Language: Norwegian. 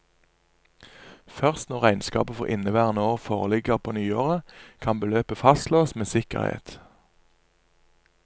Først når regnskapet for inneværende år foreligger på nyåret, kan beløpet fastslås med sikkerhet.